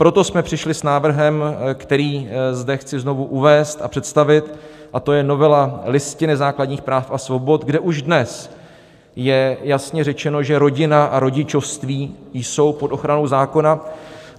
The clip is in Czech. Proto jsme přišli s návrhem, který zde chci znovu uvést a představit, a to je novela Listiny základních práv a svobod, kde už dnes je jasně řečeno, že rodina a rodičovství jsou pod ochranou zákona.